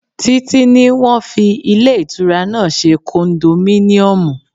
Títí ní wọ́n fi ilé ìtura náà ṣe kondominiomu.